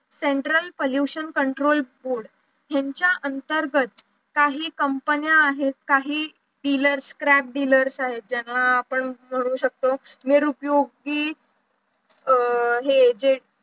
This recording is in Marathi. central pollution control board यांच्या अंतर्गत काही company आहेत काही dealers scrap dealers आहेत ज्यांना आपण म्हणू शकतो निरुपयोगी अं हे जे